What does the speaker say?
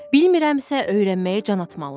Bilmərəmsə öyrənməyə can atmalıyam.